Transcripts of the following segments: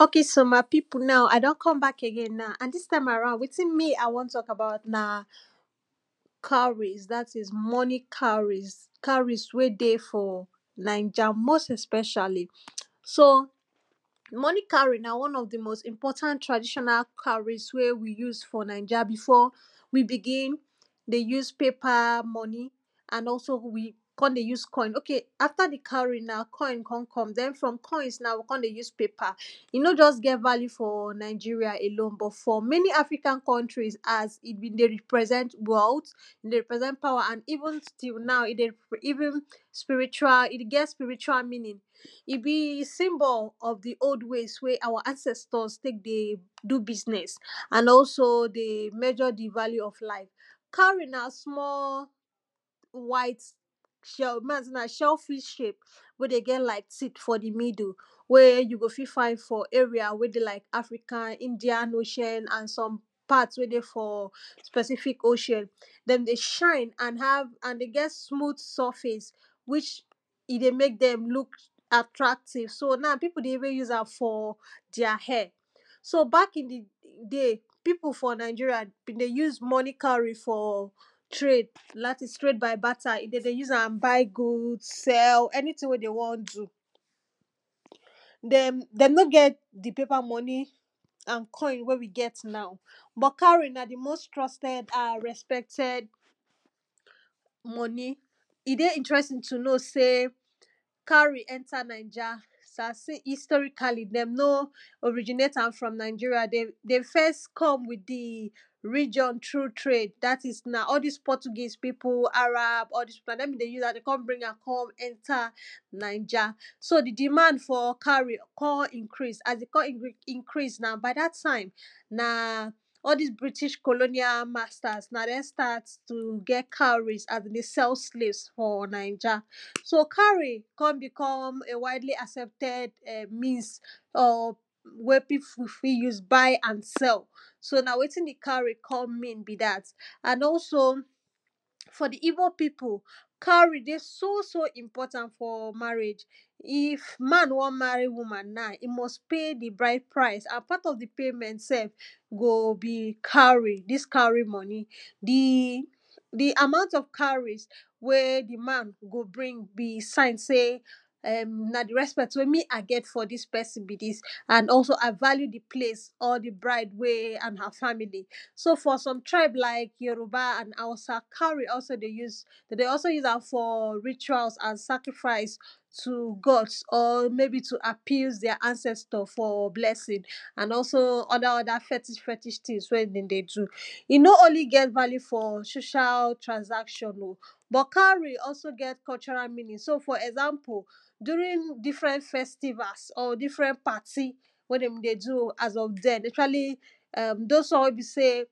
okay so my people now I don come back again now and dis time around wetin me I want talk about na, cowries. dat is money cowries cowries, wey dey for naija most especially so money cowry na one of di most important traditional cowries wey we use for niaja before we begin dey use paper money and also we come dey use coin okay after di cowry na coin come come, den from coins now we come dey use paper. paper e just no get value for Nigeria alone, but for many African countries as e been dey represent wealth, e dey represent power and even till now e dey even spiritual e get spiritual meaning. e be symbols of di old ways wey our ancestors take dey do business and also dey measure di value of life. cowry na small white shell make I sey na shell fish shape, wey dey get like seed for di middle. wey you go fit find for area wey dey like Africa, indian ocean and some part wey dey for pacific ocean. dem dey shine and have and get smooth surface. which e dey make dem look attractive so now people dey even use am for their hair. so back in di day peope for Nigeria been dey use money cowry for trade. dat is trade by batter dem dey use buy goods, sell, any thing wey them want do. dem dem nor get di paper money and coin wey we get now ,but cowry na di most trusted and respected money e dey intresing to know sey cowry enter naija [2] historically, dem nor originate am from Nigeria dem dem first come with di region through trade. dat is na all dis Portuguese people, Arab, all dis people na dem been dey use am dem come bring am come Naija. so di demand for cowries come increase, as them come increase now by dat time, na all dis british colonial masters na dem start to dey get cowries as dem dey sell slaves for naija. so cowry come become a wildly accepted [urn] means of wey people fit use to buy and sell. so na wetin di cowry come mean be dat and also, for di igbo people, cowry dey so so important for marriage. if man want marry woman now, e must pay di bride price and part of di payment sef go be cowry dis cowry money. di di amount of cowries wey di man go bring be sign sey na di repsect wey me a get for dis person be dis. and also I value di place or di bride wey and her family so for some tribe like Yoruba and hausa cowry also dey use dem dey also use am for rituals and sacrifice to gods or maybe to appease their ancestor for blessing and also other other fetish fetish things when dem dey do e nor only get value for social transaction oh but cowry also get cultural meaning so for example during different festivals or different party when dem dey do as of den especially those one wey be sey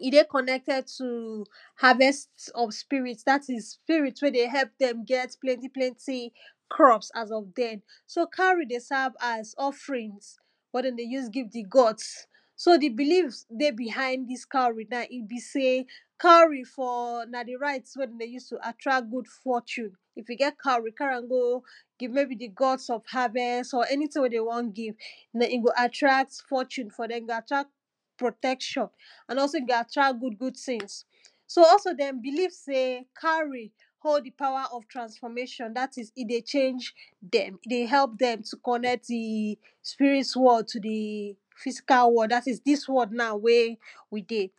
e dey connected to harvest of spirits spirit wey dey help dem get plenty plenty crops as of den so cowry dey serve as offerings wey dem dey use give di gods. so di belief dey behind dis cowry now e be sey, cowry for na di right wey dem dey use to attract good fortune, if you get cowry carry am go give maybe di gods of harvest or any thing wey dem want give. den e go attract fortune for dem, e go attract protection and also e go attract good good things. so also dem believe sey, cowry hold di power of transformation; dat is e dey change dem e dey help dem to connect to di spirit world to di physical world, dat is dis world now wey we dey.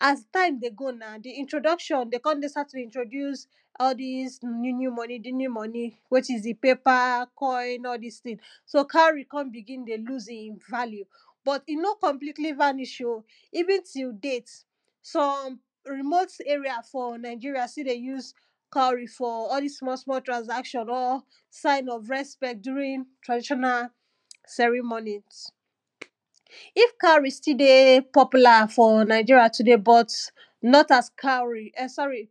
as time dey go now di introduction dem come later to introduce all dis new new money new new money which is di paper, coin, all dis thing so cowry come begin dey loose im value. but e nor completely vanish oh, even till date some remote area for Nigeria still dey use cowry for all dis small small transaction or sign of respect during traditional ceremonies. if cowry still dey popular for Nigeria today but not as cowry e sorry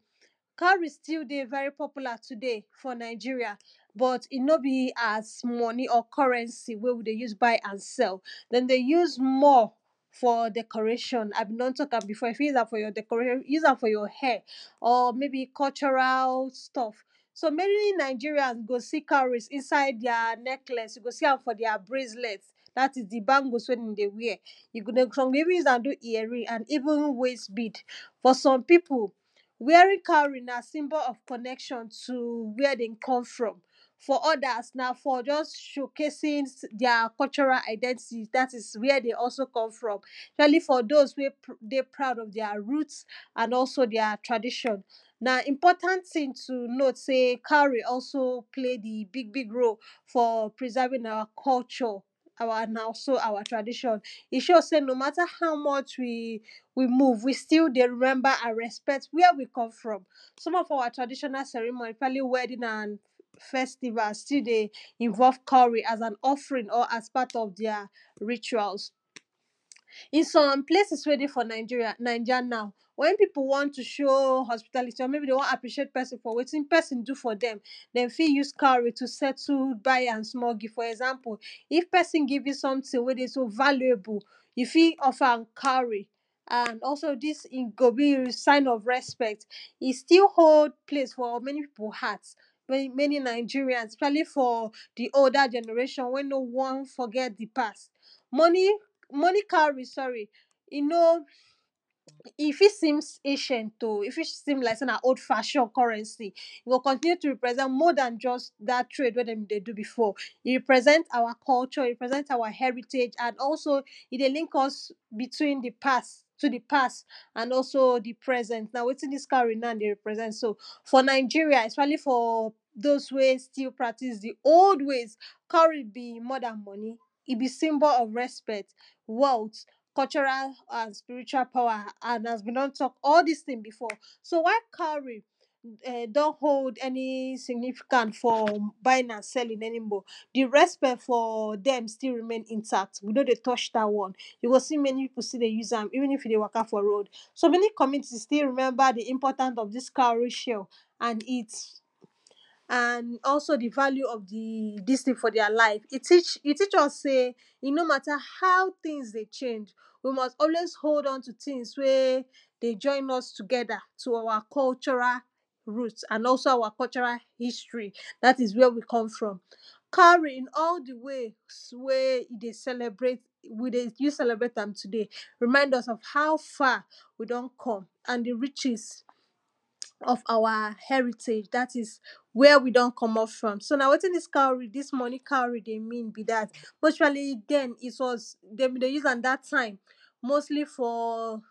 cowry still dey very popular today for Nigeria but e nor be as money or currency wey we dey use buy and sell. dem dey use more for decoration, I been don talk am before you fit use am for your decoration use am for you hair or maybe cultural stuff. so many Nigerian go see cowry inside their necklace you go see am for inside their bracelet dat is di bangles wey dem dey wear. [2] some dey even use do ear ring and even waist beed, for some people, wearing cowry na symbol of connection to where dem come from. for others, na just showcasing their identity dat where dem also come from. especially for those wey dey proud of their root and also their tradition. na important thing to note sey cowry also play di big big role for preserving our culture. [urn] and also our tradition e show sey no matter how much we move, we still dey remember and respect where we come from. some of our traditional ceremony especillay wedding and festival, still dey involve cowry as an offering or as part of their rituals. in some place wey dey for Nigeria, Naija now when people want to show hospitality or people wan appreciate person for wetin person do for dem dem fit use cowry settle buy am small gift. for example, if person give you something wey dey so valuable you fit offer am cowry. and also dis e go be sign of respect. e still hold place for many people heart, many many Nigerians especially for di older generation when nor want forget di past. money money cowry sorry e no e fit seems acient oh, e fit seem like sey na old fashion currency e go continue to represent more dan dat trade when dem dey do before. e represent our culture, e represent our heritage and also e dey link us between di past to di past and also di present, na wetin dis cowry now dey represent so. for Nigeria especially for those wey still practice di old ways cowry be more dan money e be symbol of respect, wealth, cultural and spiritual power and as I been don talk all dis thing before. so? wa?i? ka?u?ri? e don’t hold any significance for buying and selling any more, di respect for dem still remain intact we nor dey touch dat one. you go see many people still dey use am even if you dey waka for road. so many communities still remember di importance of dis cowry shell and its and also di value of di dis thing for their live. e teach e teach us sey e no matter how things things dey change, we must always hold on to things wey dey join us together to our cultural root and also so our cultural history. dat is where we come from, cowry in all di ways wey e dey celebrate wey we dey use dey celebrate am today remind us of how far we don come and di riches of our heritage. dat is where we don comot from so na wetin dis cowry dis money cowry dey mean be dat, especially den it was dem be dey use am det time mostly for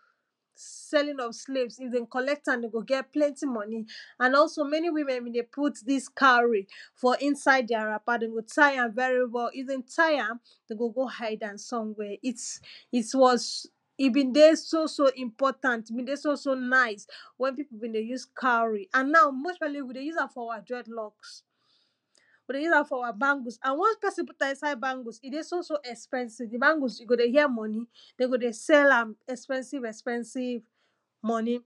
selling of slaves, if dem collect am dem go get plenty money and also many women been dey put dis cowry for inside their wrapper them go tie am very well if them tie am, dem go go hide am somewhere, its its was e been dey so so Important, e been dey so so nice, wey people been dey use cowry and now most especially we dey use am for our dredlocks. we dey use am for our bangles and once person put am inside bangles e dey so os expensive di bangles you go dey hear money. dem go dey sell am expensive expensive money.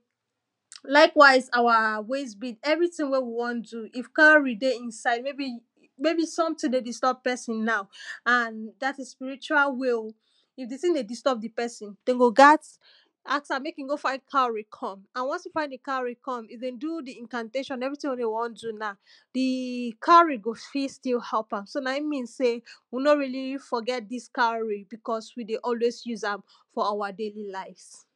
likewise our waist beed everything wey we want do if cowry dey inside maybe maybe something dey disturb person now and dat is spiritual way oh, if di thing dey disturb di person dem go gat ask am make im go find cowry come and once e find di cowry come, if them do di incantation everything wey dem want do now di cowry go fit still help am, so na im be sey we nor really forget dis cowry because we dey always use am for our daily lives.